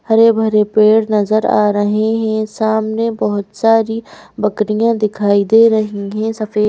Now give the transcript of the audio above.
हरे भरे पेड़ नजर आ रहे हैं सामने बोहोत सारी बकरियां दिखाई दे रही हैं सफेद--